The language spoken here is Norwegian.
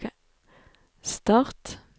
start